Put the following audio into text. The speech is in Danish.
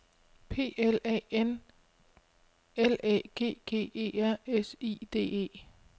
P L A N L Æ G G E R S I D E